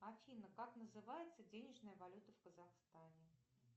афина как называется денежная валюта в казахстане